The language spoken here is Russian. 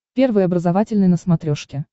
первый образовательный на смотрешке